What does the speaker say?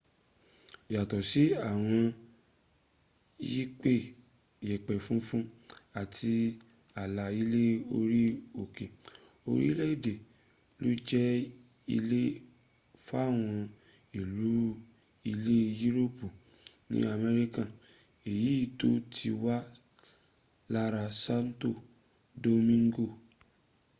yàtọ̀ sí àwọn yẹ̀pẹ̀ funfun àti àlà ilẹ̀ orí òkè orílẹ̀èdè ló jẹ́ ilé fáwọn ìlú ilẹ̀ yúròpù ní america èyí tó ti wà lára santo domingo